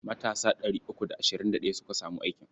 Matasa ɗari uku da ashirin da ɗaya suka samu aikin.